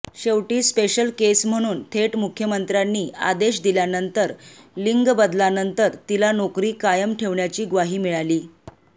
शेवटी special case म्हणून थेट मुख्यमंत्र्यांनी आदेश दिल्यानंतर लिंगबदलानंतर तिला नाेकरी कायम ठेवण्याची ग्वाही मिळाली